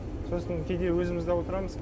сосын кейде өзіміз дә отырамыз